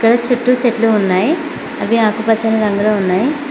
ఇక్కడ చుట్టూ చెట్లు ఉన్నాయి అవి ఆకుపచ్చని రంగులో ఉన్నాయి.